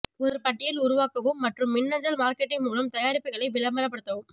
ஒரு பட்டியல் உருவாக்கவும் மற்றும் மின்னஞ்சல் மார்க்கெட்டிங் மூலம் தயாரிப்புகளை விளம்பரப்படுத்தவும்